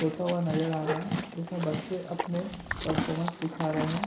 होता हुआ नजर आ रहा है जिसमें बच्चे अपने पर्फोर्मेंस दिखा रहे है।